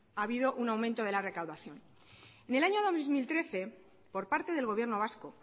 ha habido un aumento de la recaudación y en el año dos mil trece por parte del gobierno vasco